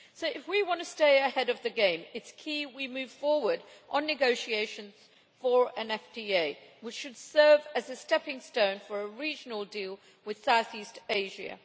So if we want to stay ahead of the game, it is key that we move forward on negotiations for an FTA which should serve as a stepping stone for a regional deal with South East Asia.